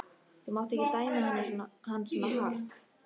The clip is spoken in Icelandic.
Þú mátt ekki dæma hann svona hart.